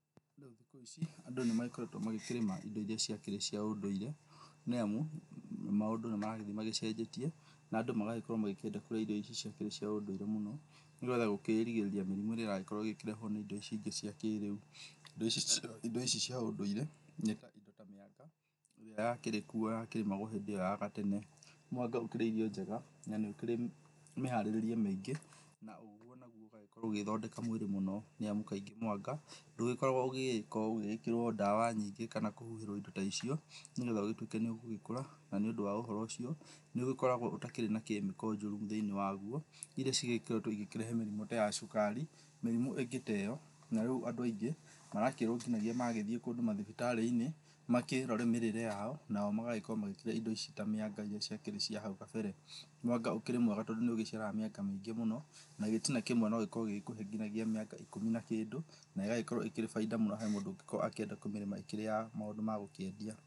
Rĩu thikũ ici andũ nĩ magĩkoretwo magĩkĩrĩma ĩndo ĩria ciakĩrĩ cia ũndũire, nĩamu maũndũ nĩ maragĩthĩ macenjetie na andũ magagĩkorwo makĩenda kũrĩa irio icio cia ũndũire mũno nĩgetha gũkũrigĩrĩria mĩrimũ ĩria ĩragĩkorwo ĩkĩrehwo nĩ ĩndo ici ingĩ cia kĩrĩu. Ĩndo ici cia ũndũire nĩ ta ĩndo ta mĩanga ĩrĩa yakĩrĩ kũu ya kĩrĩmagwo hindĩ ĩyo ya gatene. Mwanga ũkĩrĩ irio njega na nĩ ũkĩrĩ mũharĩrĩrie mĩingĩ na ũguo naguo ũgagĩkorwo ũgĩthondeka mwĩrĩ mũno, nĩamu kaingĩ mwanga ndũgĩkoragwo ũgĩgĩkorwo ũgĩgĩkĩrwo ndawa nyingĩ kana kũhihĩrwo ĩndo ta icio nĩgetha ũgĩtuĩke nĩ ũgũgĩkũra na nĩ ũndũ wa ũhoro ũcio nĩũgĩkoragwo ũtakĩrĩ na kemiko njũru thĩiniĩ waguo ĩria cigĩkoretwo ĩkĩrehe mĩrimũ ta ya cukari, mĩrimũ ĩngĩ ta ĩyo na rĩu andũ aingĩ marakĩũtinania magĩthĩĩ kũndũ mathibitari-inĩ makĩrore mĩrĩre yao nao magagĩkorwo magĩkĩrĩa ĩndo ici ta mĩanga irĩa ciakĩrĩ cia hau gabere. Mwanga ũkĩrĩ mwega tondũ nĩ ũgĩciaraga mĩanga mĩingĩ mũno na gĩtina kĩmwe no gĩkũhe ngina mĩanga ĩkũmi na kĩndũ na ĩgagĩkorwo ĩkĩrĩ baida mũno he mũndũ ũngĩkorwo akĩenda kũmĩrĩma ĩkĩrĩ ya maũndũ ma gũkĩendia.